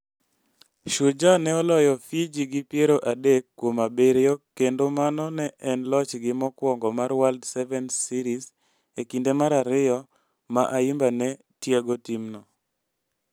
Shujaa ne oloyo Fiji gi piero adek kuom abiriyo kendo mano ne en lochgi mokwongo mar World Sevens Series e kinde mar ariyo ma Ayimba ne tiego timno.